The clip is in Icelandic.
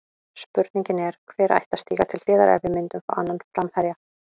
Spurningin er, hver ætti að stíga til hliðar ef við myndum fá annan framherja?